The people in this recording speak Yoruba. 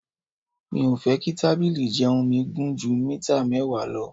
Mi ò fẹ́ kí tábìlì ìjẹun mi gùn ju mítà mẹ́wàá lọ.